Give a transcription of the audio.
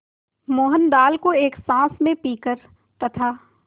मोहन दाल को एक साँस में पीकर तथा